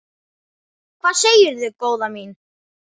Hvað segirðu góða mín?